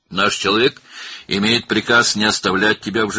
Bizim adamımız səni diri buraxmamaq əmri alıb.